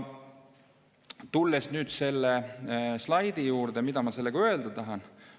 Tulles nüüd selle slaidi juurde, mida ma sellega öelda tahan?